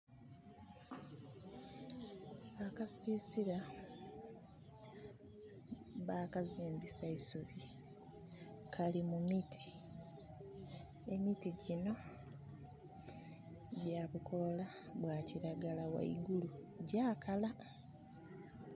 Akasiisira bakazimbisa isubi. Kali mu miti. Emiti gyinho gyabukoola bwa kiragala ghaigulu gyakala.